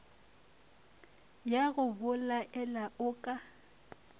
ya go belaela o ka